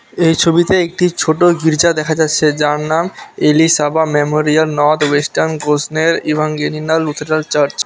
এই ছবিতে একটি ছোট গির্জা দেখা যাচ্ছে যার নাম Elisabeth Memorial North Western Gossner Evangelical Lutheran Church.